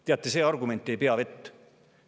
Teate, see argument ei pea vett.